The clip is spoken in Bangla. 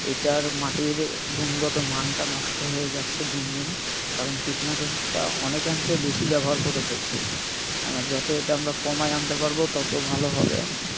এইটার মাটির গুণগত মানটা নষ্ট হয়ে যাচ্ছে দিন দিন, কারণ কীটনাশকটা অনেকাংশে বেশি ব্যবহার করে ফেলছি। আহ যত এটা আমরা কমায় আনতে পারবো তত ভালো হবে।